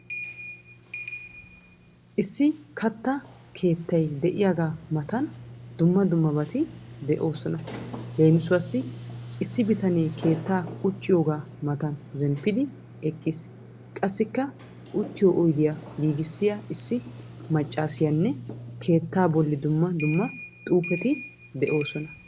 Issi katta keettay de'iyaaga matan dumma dummabati de'oosoa. Leemisuwassi Issi bitanee keettaa qucciyogaa matan zemppidi eqqiis. Qassikka uttiyo oydiya giigissiya issi maccaasiyanne keettaa bolli dumma dumma xuufeti de'oosona.